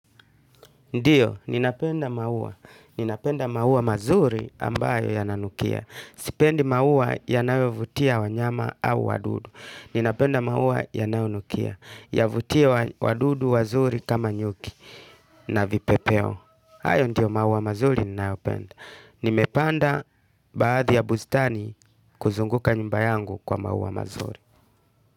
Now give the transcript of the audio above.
Ndio, ninapenda maua. Ninapenda maua mazuri ambayo yananukia. Sipendi maua yanayovutia wanyama au wadudu. Ninapenda maua yanayonukia yavutie wadudu wazuri kama nyuki na vipepeo. Hayo ndiyo maua mazuri ninayopenda. Nimepanda baadhi ya bustani kuzunguka nyumba yangu kwa maua mazuri.